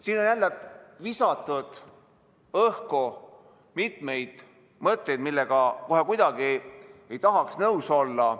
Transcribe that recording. Siin on visatud õhku mitmeid mõtteid, millega kohe kuidagi ei tahaks nõus olla.